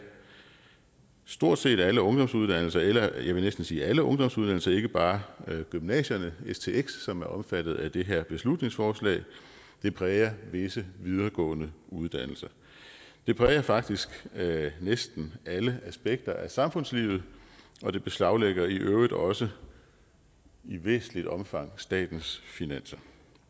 stort set alle ungdomsuddannelser eller jeg vil næsten sige alle ungdomsuddannelser altså ikke bare gymnasierne stx som er omfattet af det her beslutningsforslag og det præger visse videregående uddannelser det præger faktisk næsten alle aspekter af samfundslivet og det beslaglægger i øvrigt også i væsentligt omfang statens finanser